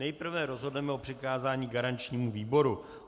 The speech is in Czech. Nejprve rozhodneme o přikázání garančnímu výboru.